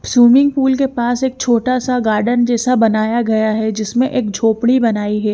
Swimming pool के पास एक छोटा सा गार्डन जैसा बनाया गया है जिसमे एक झोपड़ी बनाई है।